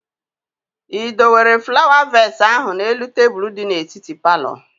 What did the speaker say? Ị dowere flawa vees ahụ n'elu tebụl di n'etiti palọ?